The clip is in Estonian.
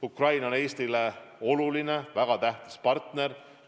Ukraina on Eestile oluline, väga tähtis partner.